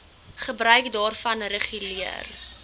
gebruik daarvan reguleer